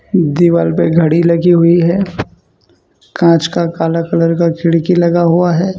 दीवार पे घड़ी लगी हुई है कांच का काला कलर का खिड़की लगा हुआ है।